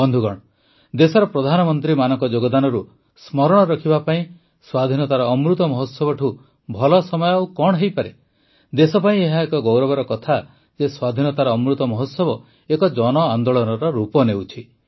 ବନ୍ଧୁଗଣ ଦେଶର ପ୍ରଧାନମନ୍ତ୍ରୀମାନଙ୍କ ଯୋଗଦାନରୁ ସ୍ମରଣ ରଖିବା ପାଇଁ ସ୍ୱାଧୀନତାର ଅମୃତ ମହୋତ୍ସବଠୁ ଭଲ ସମୟ ଆଉ କଣ ହୋଇପାରେ ଦେଶ ପାଇଁ ଏହା ଗୌରବର କଥା ଯେ ସ୍ୱାଧୀନତାର ଅମୃତ ମହୋତ୍ସବ ଏକ ଜନଆନ୍ଦୋଳନର ରୂପ ନେଉଛି